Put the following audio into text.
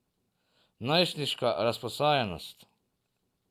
Najstniška razposajenost?